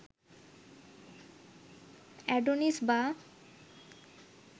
Adonis বা